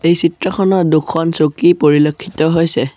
এই চিত্ৰখনত দুখন চকী পৰিলক্ষিত হৈছে।